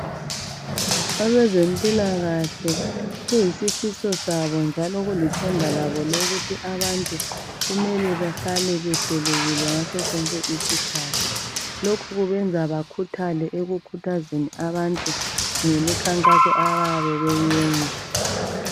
Abezempilakahle kuyisifiso sabo njalo kulithemba labo ukuthi abantu kumele behlale behlelekile ngaso sonke isikhathi. Lokhu kwenza bakhuthale ekukhuthazeni abantu ngemikhankaso abayabe beyiyenza.